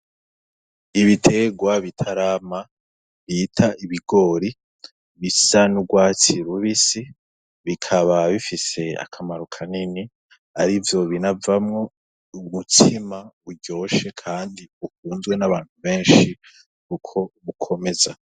Ibiterwa bitarama bita ibigori, bisa n'urwatsi rubisi, bikaba bifise akamaro kanini arivyo binavamwo umutsima uryoshe kandi ukunzwe n'abantu benshi kuko bukomeza.